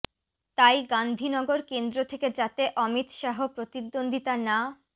তাই গাঁধীনগর কেন্দ্র থেকে যাতে অমিত শাহ প্রতিদ্বন্দ্বিতা না